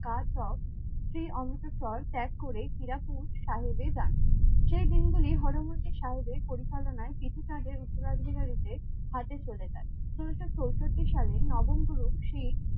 সেই অমৃতসর ত্যাগ করে চিড়াকুট সাহেবে যান। সেই দিনগুলি হর মন্দির সাহেবের পরিচালনায় কৃষিকাজের উত্তরাধিকারী দের হাতে চলে যায়। ষোলোশো চৌষট্টি সালে নবম গুরু শিখ